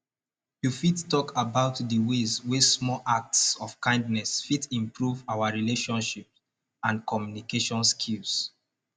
you fit talk about di ways wey small acts of kindness fit improve our relationships and communication skills